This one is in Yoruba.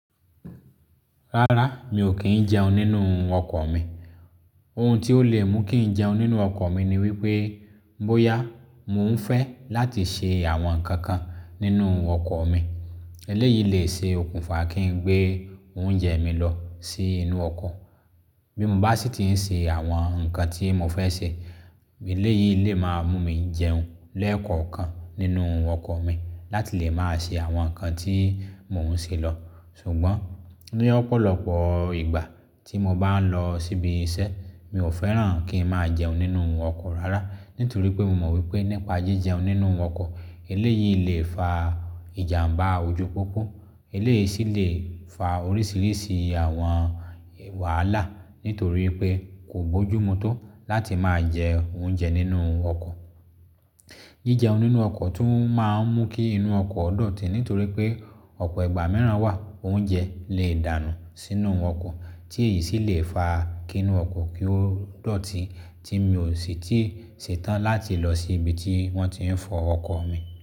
Rárá, mi ò kí ń jẹun nínú ọkọ̀ mi. Ohun tí ó lè mú kí ń jẹun nínú ọkọ̀ mi ni wípé bóyá mo ń fẹ́ láti ṣe àwọn nǹkan kan nínú ọkọ̀ mi, eléyìí lè ṣe okùnfà kí ń gbé oúnjẹ mi lọ sí inú ọkọ̀. Bí mo bá sì ti ń ṣe àwọn nǹkan tí mo fẹ́ ṣe, eléyìí lè máa mú mi jẹun lẹ́ẹ̀kọ̀ọ̀kan nínú ọkọ̀ mi láti lè máa ṣe àwọn nǹkan tí mò ń ṣe lọ̀. Ṣùgbọ́n ní ọ̀pọ̀lọpọ̀ ìgbà tí mo bá ń lọ síbi iṣẹ́, mi ò fẹ́ràn kí ń máa jẹun nínú ọkọ̀ rárá nítorí pé mo mọ wípé nípa jí jẹun nínú ọkọ̀ eléyìí lè fa ìjàmbá ojú pópó. Eléyìí sì lè fa oríṣiríṣi àwọn wàhálà nítorí pé kò bójú mu tó láti máa jẹ oúnjẹ nínú ọkọ̀. Jí jẹun nínú ọkọ̀ tún máa ń mú kí inú ọkọ̀ dọ̀tí nítorí pé ọ̀pọ̀ ìgbà mìíràn wà oúnjẹ lè dànù sínú ọkọ̀ tí èyí sì lè fa kí inú ọkọ̀ kí ó dọ̀tí tí mi ò sì tíì ṣetán láti lọ sí ibi tí wọ́n ti ń fọ ọkọ̀ mi.